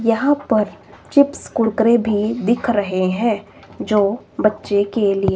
यहां पर चिप्स कुरकुरे भी दिख रहे हैं जो बच्चे के लिए--